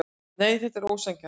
Nei, þetta var ósanngjarnt.